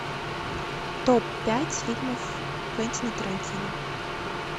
топ пять фильмов квентина тарантино